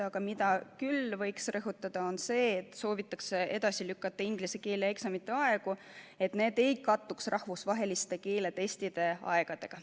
Aga seda võiks küll rõhutada, et soovitakse edasi lükata inglise keele eksamite aegu, et need ei kattuks rahvusvaheliste keeletestide aegadega.